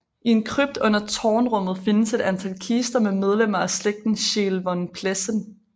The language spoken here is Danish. I en krypt under tårnrummet findes et antal kister med medlemmer af slægten Scheel von Plessen